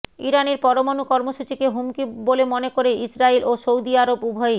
ইরানের পরমাণু কর্মসূচিকে হুমকি বলে মনে করে ইসরায়েল ও সৌদি আরব উভয়েই